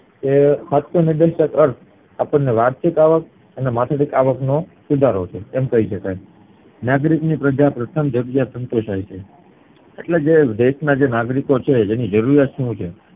એ સાચો ઉધેસક વાર્ષિક અવાક અને માથાદીઠ અવાક નો સુધારો છે એમ કય શકાય નાગરિક ની પ્રથમ સંતોષાય છે એટલે જે દેશ ના જે નાગરિકો છે એની જરૂરિયાત શું છે